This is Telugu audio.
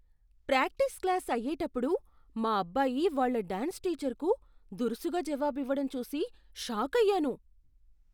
ప్రాక్టీస్ క్లాస్ అయ్యేటప్పుడు మా అబ్బాయి వాళ్ళ డ్యాన్స్ టీచర్కు దురుసుగా జవాబివ్వడం చూసి షాకయ్యాను.